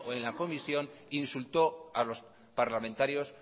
en la comisión insultó a los parlamentarios